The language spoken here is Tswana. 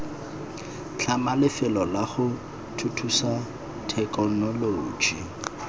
tlhama lefelo lago thuthusa thekenoloji